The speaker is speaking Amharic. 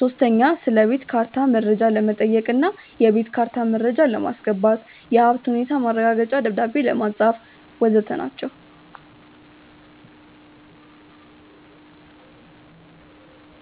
ሶስተኛ ስለቤት ካርታ መረጃ ለመጠየቅ እና የቤት ካርታ መረጃ ለማስገባት፣ የሀብት ሁኔታ ማረጋገጫ ደብዳቤ ለማጻፍ.... ወዘተ ናቸው።